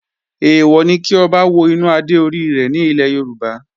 Èèwọ̀ ni kí Ọba wo inú adé orí rẹ̀ ní ilẹ̀ Yorùbá